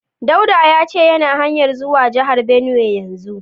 Dauda ya ce yana hanya zuwa jihar Benue yanzu.